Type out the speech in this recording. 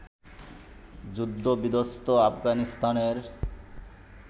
যুদ্ধ-বিধ্বস্ত আফগানিস্তানের